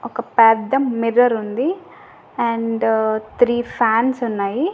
ఒక పెద్ద మిర్రర్ ఉంది అండ్ త్రీ ఫాన్స్ ఉన్నాయి.